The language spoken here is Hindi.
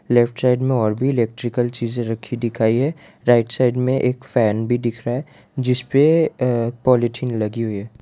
लेफ्ट साइड में और भी इलेक्ट्रिकल चीजे रखी दिखाई है राइट साइड में एक फैन भी दिख रहा है जिस पे अ पॉलिथीन लगी हुई है।